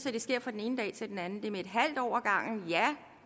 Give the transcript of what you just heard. at det sker fra den ene dag til den anden det er med et halvt år